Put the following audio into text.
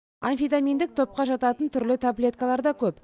амфитаминдік топқа жататын түрлі таблеткалар да көп